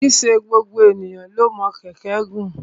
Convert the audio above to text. Kì í ṣe gbogbo ènìyàn ni o mọ kẹ̀kẹ́ gùn.